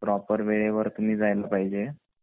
proper वेळेवर तुम्ही जेल पाहिजे ,